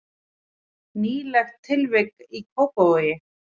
Nýlegt tilvik í Kópavogi